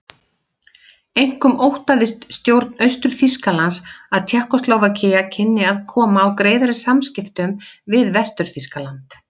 Einkum óttaðist stjórn Austur-Þýskalands að Tékkóslóvakía kynni að koma á greiðari samskiptum við Vestur-Þýskaland.